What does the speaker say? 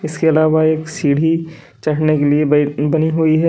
इसके अलावा एक सीढ़ी चढ़ने के लिए बई बनी हुई है।